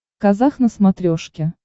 казах на смотрешке